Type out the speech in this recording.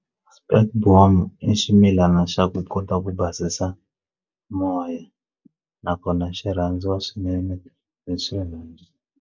Spekboom i ximilana xa ku kota ku basisa moya nakona xi rhandziwa swinene hi swinene.